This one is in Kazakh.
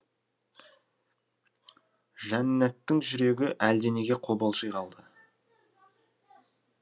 жаннаттың жүрегі әлденеге қобалжи қалды